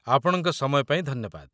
ଆପଣଙ୍କ ସମୟ ପାଇଁ ଧନ୍ୟବାଦ!